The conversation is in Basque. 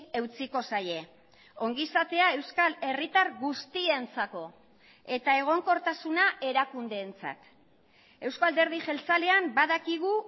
eutsiko zaie ongizatea euskal herritar guztientzako eta egonkortasuna erakundeentzat eusko alderdi jeltzalean badakigu